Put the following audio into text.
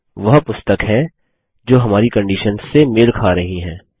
यहाँ वह पुस्तक हैं जो हमारी कंडिशन्स से मेल खा रही हैं